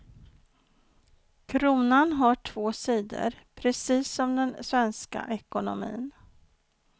Kronan har två sidor, precis som den svenska ekonomin.